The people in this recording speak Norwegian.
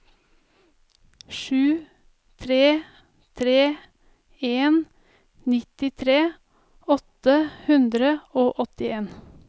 sju tre tre en nittitre åtte hundre og åttien